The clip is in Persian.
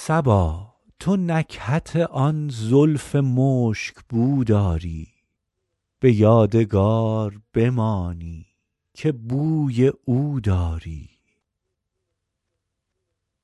صبا تو نکهت آن زلف مشک بو داری به یادگار بمانی که بوی او داری